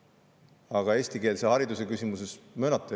Aga eestikeelse hariduse küsimuses – möönate?